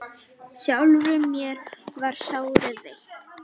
sjálfur mér það sárið veitt